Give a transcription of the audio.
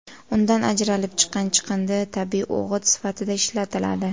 Undan ajralib chiqqan chiqindi tabiiy o‘g‘it sifatida ishlatiladi.